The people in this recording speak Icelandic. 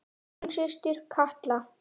Þín systir Katla.